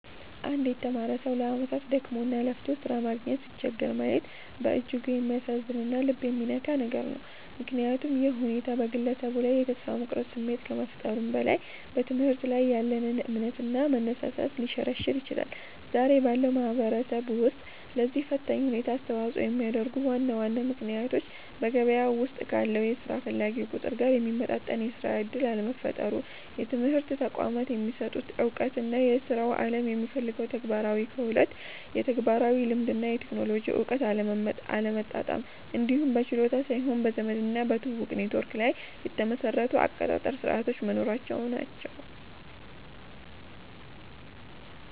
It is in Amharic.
አንድ የተማረ ሰው ለዓመታት ደክሞና ለፍቶ ሥራ ማግኘት ሲቸገር ማየት በእጅጉ የሚያሳዝንና ልብ የሚነካ ነገር ነው፤ ምክንያቱም ይህ ሁኔታ በግለሰቡ ላይ የተስፋ መቁረጥ ስሜት ከመፍጠሩም በላይ፣ በትምህርት ላይ ያለንን እምነትና መነሳሳት ሊሸረሽር ይችላል። ዛሬ ባለው ማህበረሰብ ውስጥ ለዚህ ፈታኝ ሁኔታ አስተዋጽኦ የሚያደርጉት ዋና ዋና ምክንያቶች በገበያው ውስጥ ካለው የሥራ ፈላጊ ቁጥር ጋር የሚመጣጠን የሥራ ዕድል አለመፈጠሩ፣ የትምህርት ተቋማት የሚሰጡት ዕውቀትና የሥራው ዓለም የሚፈልገው ተግባራዊ ክህሎት (ተግባራዊ ልምድ እና የቴክኖሎጂ እውቀት) አለመጣጣም፣ እንዲሁም በችሎታ ሳይሆን በዘመድና በትውውቅ (ኔትወርክ) ላይ የተመሰረቱ የአቀጣጠር ሥርዓቶች መኖራቸው ናቸው።